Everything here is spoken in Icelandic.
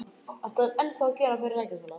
Katrín, hvaða leikir eru í kvöld?